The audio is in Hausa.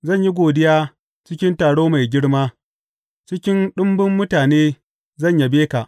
Zan yi godiya cikin taro mai girma; cikin ɗumbun mutane zan yabe ka.